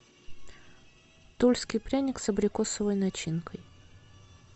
тульский пряник с абрикосовой начинкой